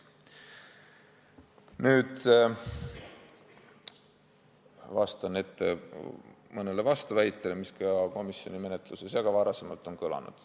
Nüüd vastan ette mõnele vastuväitele, mis kõlasid komisjoni menetluse ajal ja on ka varem kõlanud.